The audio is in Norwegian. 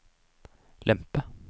lempe